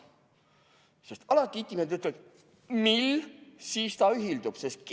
Sest alati itimehed ütlevad: mill, siis ta ühildub!